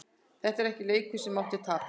Þetta var ekki leikur sem mátti tapast.